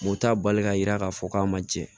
O t'a bali ka yira k'a fɔ k'a ma jɛ